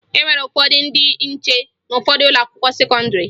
E nwere ndị nche n'ụfọdụ ụlọakwụkwọ sekọndịrị